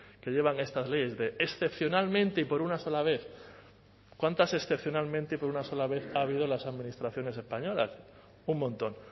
que llevan estas leyes de excepcionalmente y por una sola vez cuántas excepcionalmente y por una sola vez ha habido en las administraciones españolas un montón